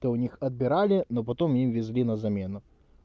тог у них отбирали но потом везли на замену